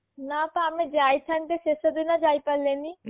ନା ତ ଆମେ ଯାଇଥାନ୍ତେ ଶେଷଦିନ ଯାଇପାରିଲେଣି